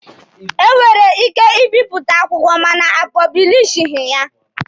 E nwere ike ịbịpụta akwụkwọ mana a pọblishighị ya